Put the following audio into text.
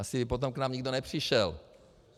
Asi potom by k nám nikdo nepřišel.